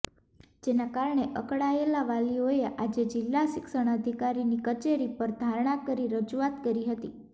જેના કારણે અકળાયેલા વાલીઓએ આજે જિલ્લા શિક્ષણાધિકારીની કચેરી પર ધરણા કરી રજુઆત કરી હતી